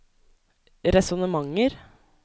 resonnementer